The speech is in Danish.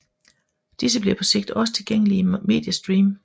Disse bliver på sigt også tilgængelige i Mediestream